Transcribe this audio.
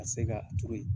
Ka se ka turu